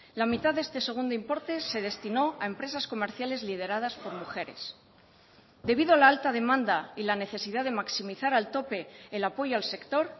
la mitad de este segundo importe se destinó a empresas comerciales lideradas por mujeres debido a la alta demanda y la necesidad de maximizar al tope el apoyo al sector